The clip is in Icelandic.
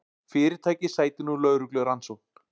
Fyrirtækið sætir nú lögreglurannsókn